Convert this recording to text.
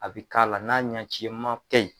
A bɛ k'ala n'a ɲɛcima tɛ yen.